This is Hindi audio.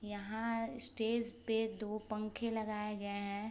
यहाँ स्टेज पे दो पंखे लगाए गए हैं।